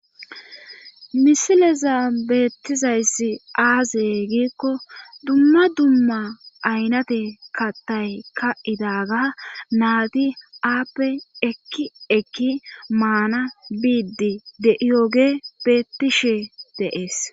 misileza beettizayssi aazey giikko dumma dumma aynate kattay ka'idaga naadi aappe ekki ekki maana biiddi de7iyogey beettishe de'es